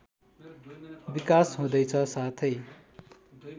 विकास हुँदैछ साथै